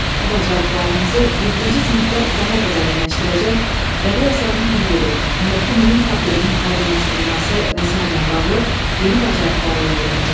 Bu bacarıqlarınızı yeddinci sinifdə daha da dərinləşdirəcək, bədii əsərin təhlili, ondakı mühüm problemin aydınlaşdırılması və sairə ilə bağlı yeni bacarıqlara yiyələnəcəksiniz.